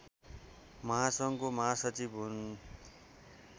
महासङ्घको महासचिव हुन्